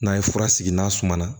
N'a ye fura sigi n'a suma na